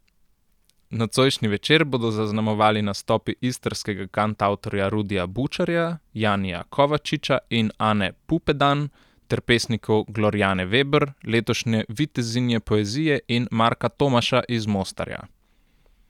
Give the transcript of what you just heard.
Nocojšnji večer bodo zaznamovali nastopi istrskega kantavtorja Rudija Bučarja, Janija Kovačiča in Ane Pupedan ter pesnikov Glorjane Veber, letošnje vitezinje poezije, in Marka Tomaša iz Mostarja.